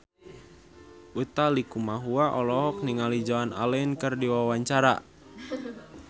Utha Likumahua olohok ningali Joan Allen keur diwawancara